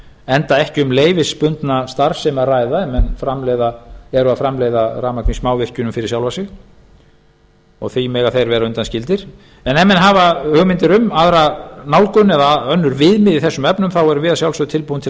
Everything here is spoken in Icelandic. enda ekki um leyfisbundna starfsemi að ræða ef menn eru að framleiða rafmagn í smávirkjunum fyrir sjálfa sig og því mega þeir vera undanskildir en ef menn hafa hugmyndir um aðra nálgun eða önnur viðmið í þessum efnum þá erum við að sjálfsögðu tilbúin til að